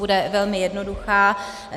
Bude velmi jednoduchá.